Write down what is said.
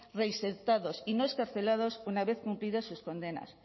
reinsertados y no excarcelados una vez cumplidas sus condenas